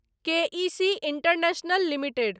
के E C International limited